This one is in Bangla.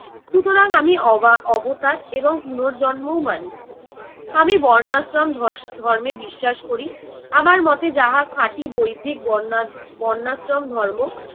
সুতরাং আমি অবা~ অবতার এবং পূণর্জন্মও মানি। আমি বর্ণাশ্রম ধস~ ধর্মে বিশ্বাস করি, আমার মতে যাহা খাঁটি বৈদিক বর্ণা~ বর্ণাশ্রম ধর্ম।